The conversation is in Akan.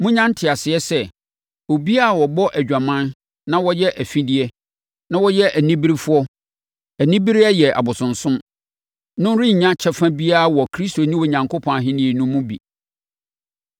Monnya nteaseɛ sɛ, obiara a ɔbɔ adwaman na ɔyɛ afideɛ, na ɔyɛ oniberefoɔ (anibereɛ yɛ abosonsom) no rennya kyɛfa biara wɔ Kristo ne Onyankopɔn Ahennie no mu bi.